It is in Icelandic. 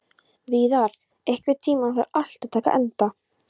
Víðar, einhvern tímann þarf allt að taka enda.